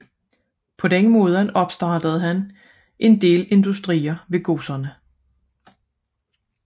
Således opstartede han en del industrier ved godserne